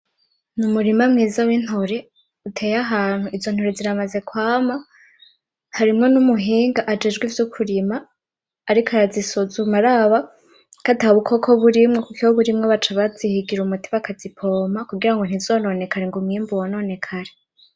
Ni umurima mwiza w'intore uteye ahantu izo ntore ziramaze kwama harimwo n'umuhinga ajejwe ivyo kurima ariko arazisuzuma araba ko atabukoko burimwo kuko iyo burimwo baca bazihigira umuti bakazipompa kugirango ntizononekare ngo umwimbu wononekare.